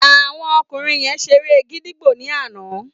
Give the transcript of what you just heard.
Àwọn ọkùnrin yen seré gídígbò ní àná